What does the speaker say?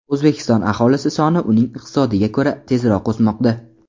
O‘zbekiston aholisi soni uning iqtisodiga ko‘ra tezroq o‘smoqda.